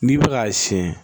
N'i bɛ k'a siyɛn